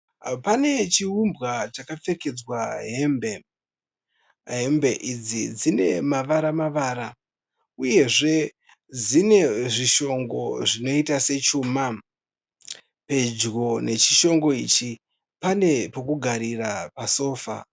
Pane chiumbwa chakapfekedzwa hembe. Hembe idzi dzine mavara-mavara uyezve dzine zvishongo zvinoiita sechuma, pedyo nechishongo ichi pane pokugarira pasofa.